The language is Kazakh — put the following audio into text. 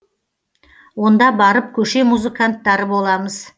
онда барып көше музыканттары боламыз